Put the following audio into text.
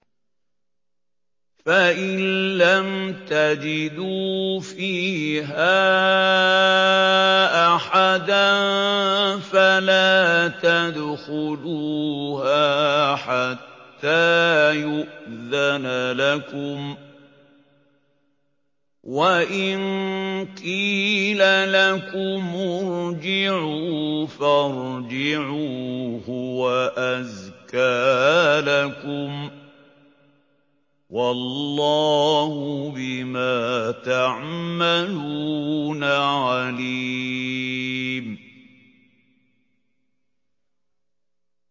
فَإِن لَّمْ تَجِدُوا فِيهَا أَحَدًا فَلَا تَدْخُلُوهَا حَتَّىٰ يُؤْذَنَ لَكُمْ ۖ وَإِن قِيلَ لَكُمُ ارْجِعُوا فَارْجِعُوا ۖ هُوَ أَزْكَىٰ لَكُمْ ۚ وَاللَّهُ بِمَا تَعْمَلُونَ عَلِيمٌ